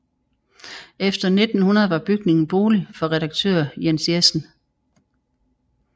Efter 1900 var bygningen bolig for redaktør Jens Jessen